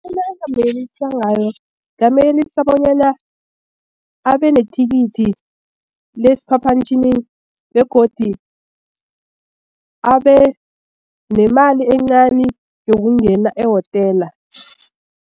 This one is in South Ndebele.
Into engingamyelelisa ngayo ngingamyelelisa bonyana abe nethikithi lesiphaphamtjhini begodi abenemali encani yokungena ehotela.